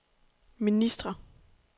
ministre